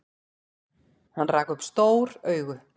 Hann rak upp stór augu.